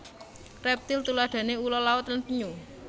Reptil tuladhane ula laut lan penyu